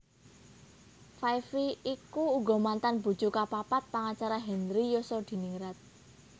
Five Vi iku uga mantan bojo kapapat pangacara Henry Yosodiningrat